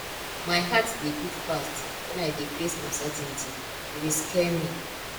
my heart dey beat fast wen i dey face uncertainty e dey scare me